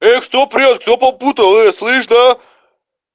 ээ кто прёт кто попутал слыш аа